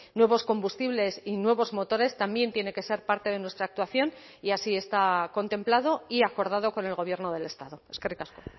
nuevos combustibles y nuevos motores también tiene que ser parte de nuestra actuación y así está contemplado y acordado con el gobierno del estado eskerrik asko